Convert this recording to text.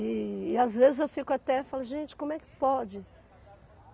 E e às vezes eu fico até e falo, gente, como é que pode?